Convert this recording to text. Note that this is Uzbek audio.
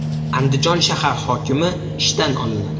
Andijon shahar hokimi ishdan olinadi.